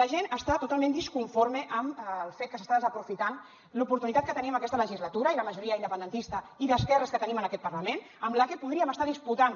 la gent està totalment disconforme amb el fet que s’està desaprofitant l’oportunitat que tenim aquesta legislatura i la majoria independentista i d’esquerres que tenim en aquest parlament amb la que podríem estar disputant